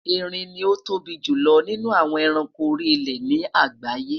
Erin ni o tóbi julọ ninu awọn ẹranko ori ile ni agbaye